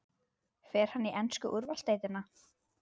Fer hann í ensku úrvalsdeildina?